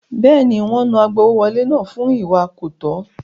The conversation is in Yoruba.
Bẹ́ẹ̀ni, wọ́n náà agbowówọlé náà fún ìwà kọ̀tọ́.